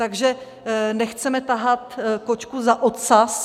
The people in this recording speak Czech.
Takže nechceme tahat kočku za ocas.